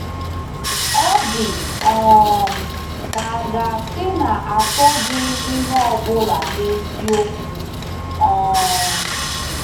Ọ dị um ka a ga-asị na achụghị m ihe ọ bụla n’eziokwu. um